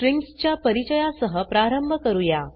strings च्या परिचयासह प्रारंभ करूया